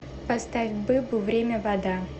поставь быбу время вода